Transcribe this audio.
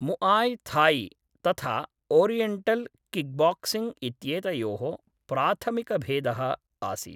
Muay Thai तथा oriental kickboxing इत्येतयोः प्राथमिकभेदः आसीत्।